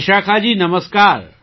વિશાખાજી નમસ્કાર